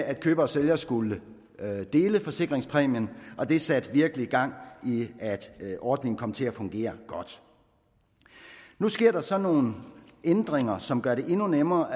at køber og sælger skulle dele forsikringspræmien og det satte virkelig gang i at ordningen kom til at fungere godt nu sker der så nogle ændringer som gør det endnu nemmere